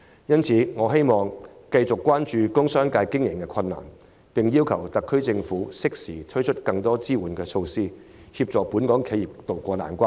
因此，我希望政府繼續關注工商界經營上的困難，並適時推出更多支援措施，協助本港企業渡過難關。